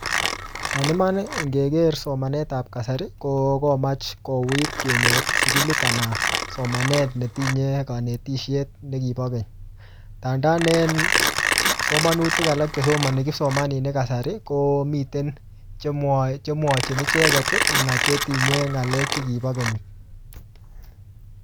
En iman, ngeker somanet ap kasari, ko komach kouit kenyor sukulit anan somanet netinye kanetishet ne kibo keny. Ndandan en somanutik alak che somani kipsomaninik eng kasari, komiten che mwae che mwachin icheket, anan chetinye ng'alek che kibo keny